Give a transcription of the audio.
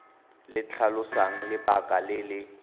le tlhalosang lebaka le le